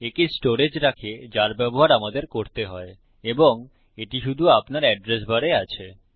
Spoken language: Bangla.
একে স্টোরেজ রাখে যার ব্যবহার আমাদের করতে হয় এবং এটি শুধু আপনার এড্রেস বারে আছে